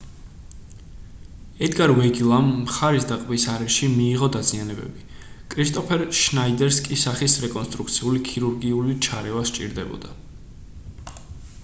ედგარ ვეგილამ მხარის და ყბის არეში მიიღო დაზიანებები კრისტოფერ შნაიდერს კი სახის რეკონსტრუქციული ქირურგიული ჩარევა სჭირდებოდა